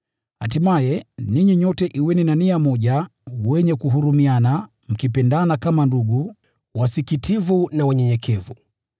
Hatimaye, ninyi nyote kuweni na nia moja, wenye kuhurumiana, mkipendana kama ndugu, na mwe wasikitivu na wanyenyekevu.